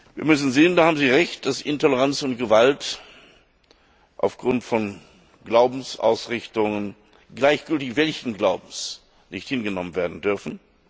Wir müssen sehen da haben Sie Recht dass Intoleranz und Gewalt aufgrund von Glaubensausrichtungen, gleichgültig welchen Glaubens, nicht hingenommen werden dürfen.